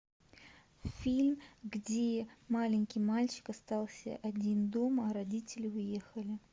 фильм где маленький мальчик остался один дома а родители уехали